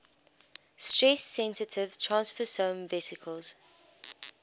stress sensitive transfersome vesicles